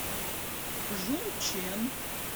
жунчэн